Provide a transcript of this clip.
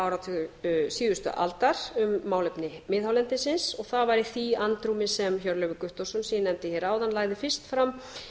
áratug síðustu aldar um málefni miðhálendisins og það var í því andrúmi sem hjörleifur guttormsson sem ég nefndi hér áðan lagði fyrst fram